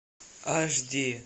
аш ди